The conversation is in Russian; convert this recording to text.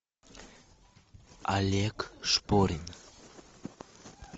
олег шпорин